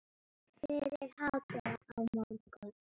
Fyrir hádegi á morgun.